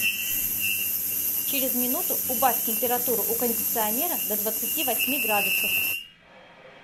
через минуту убавь температуру у кондиционера до двадцати восьми градусов